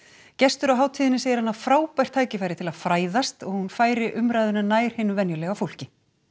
gestur á hátíðinni segir hana frábært tækifæri til að fræðast og að hún færi umræðuna nær hinu venjulega fólki